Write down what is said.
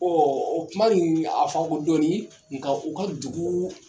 o kuma nin a faamu ka ko dɔɔnin nka u ka dugu.